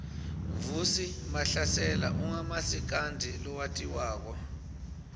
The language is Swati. vusi mahlasela ungumasikandi lowatiwako